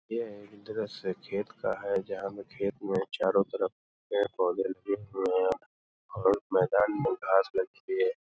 ये एक दृश्य खेत का है जहाँ हम खेत में चारों तरफ पेड़ पौधे और मैदान में घास लगी हुई है।